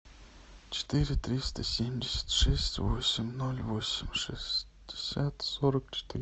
четыре триста семьдесят шесть восемь ноль восемь шестьдесят сорок четыре